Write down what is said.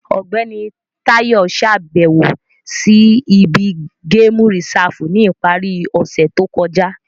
Ọgbẹni Tayo ṣabẹwo si ibi Gamu Risafu ni ipari ose to kọja.